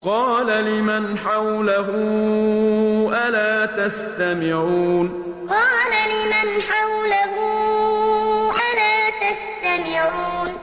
قَالَ لِمَنْ حَوْلَهُ أَلَا تَسْتَمِعُونَ قَالَ لِمَنْ حَوْلَهُ أَلَا تَسْتَمِعُونَ